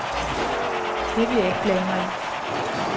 Det vil jeg ikke blande mig i.